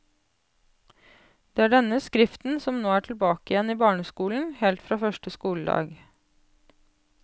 Det er denne skriften som nå er tilbake igjen i barneskolen, helt fra første skoledag.